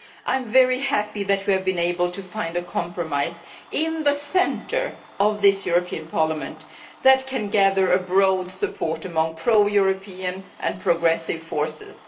I am very happy that we have been able to find a compromise, in the centre of this European Parliament, that can gather broad support among pro European and progressive forces.